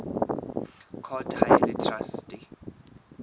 court ha e le traste